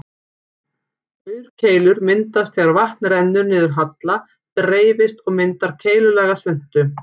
Aurkeilur myndast þegar vatn rennur niður halla, dreifist og myndar keilulaga svuntu.